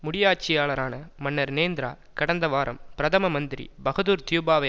முடியாட்சியாளரான மன்னர் னேந்திரா கடந்த வாரம் பிரதம மந்திரி பகதூர் தியூபாவை